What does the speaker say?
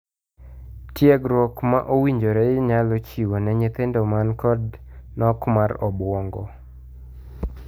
Tiegruok ma owinjore inyalo chiw ne nyithindo man koda nok mar obuong'o.